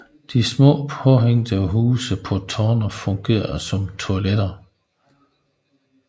De små påhængte huse på tårnene fungerede som toiletter